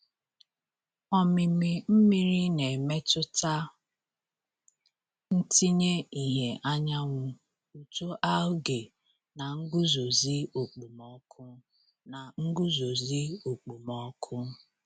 Omimi mmiri na-emetụta ntinye ìhè anyanwụ, uto algae, na nguzozi okpomọkụ. na nguzozi okpomọkụ.